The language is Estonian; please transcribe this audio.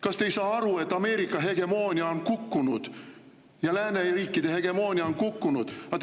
Kas te ei saa aru, et Ameerika hegemoonia on kukkunud ja lääneriikide hegemoonia on kukkunud?